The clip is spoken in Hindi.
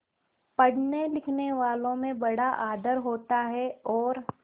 पढ़नेलिखनेवालों में बड़ा आदर होता है और